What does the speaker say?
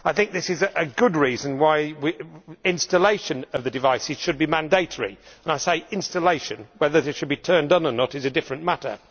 This is a good reason why installation of the devices should be mandatory I say installation, as whether these should be turned on or not is a different matter.